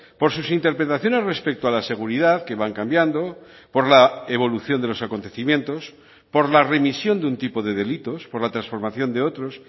por sus interpretaciones respecto a la seguridad que van cambiando por la evolución de los acontecimientos por la remisión de un tipo de delitos por la transformación de otros